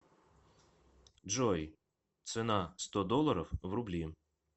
джой цена сто долларов в рубли